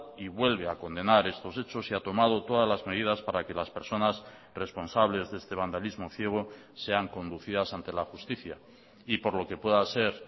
y vuelve a condenar estos hechos y ha tomado todas las medidas para que las personas responsables de este vandalismo ciego sean conducidas ante la justicia y por lo que pueda ser